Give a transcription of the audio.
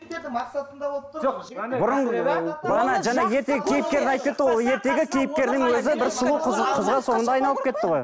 бұрын ы мана жаңа ертегі кейіпкері айтып кетті ғой ол ертегі кейіпкерінің өзі бір сұлу қызға қызға соңында айналып кетті ғой